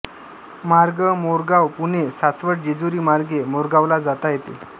मार्ग मोरगांव पुणे सासवड जेजुरी मार्गे मोरगावला जाता येते